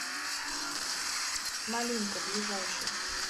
малинка ближайший